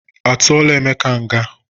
A tụọla Emeka nga?